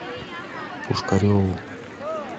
пушкареву